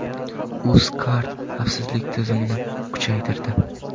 Uzcard xavfsizlik tizimini kuchaytirdi.